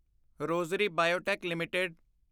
Rosary Biotech LTD